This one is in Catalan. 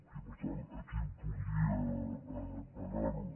i per tant aquí podria parar ho